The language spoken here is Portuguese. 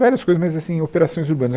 Várias coisas, mas assim operações urbanas.